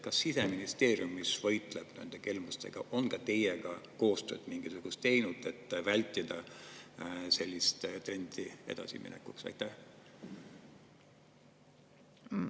Kas Siseministeerium, kes võitleb nende kelmustega, on teiega mingisugust koostööd teinud, et vältida sellise trendi edasi?